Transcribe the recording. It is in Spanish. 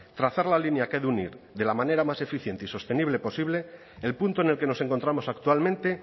trazar la línea que ha de unir de la manera más eficiente y sostenible posible el punto en el que nos encontramos actualmente